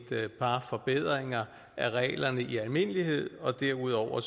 par forbedringer af reglerne i almindelighed og derudover